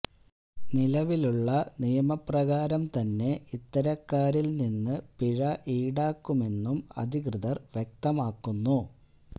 നിലവിലുള്ള നിയമപ്രകാരം തന്നെ ഇത്തരക്കാരിൽ നിന്ന് പിഴ ഈടാക്കുമെന്നും അധികൃതർ വ്യക്തമാക്കുന്നു